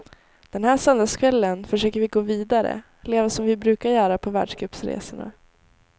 Den här söndagskvällen försöker vi gå vidare, leva som vi brukar göra på världscupsresorna.